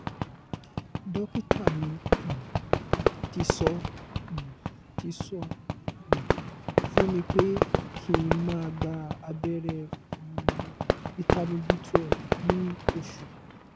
dókítà mi um tí sọ um tí sọ um fún mi pé kí n máa gba abeere um vitamin b twelve ni oṣù